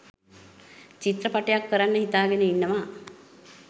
චිත්‍රපටයක් කරන්න හිතාගෙන ඉන්නවා.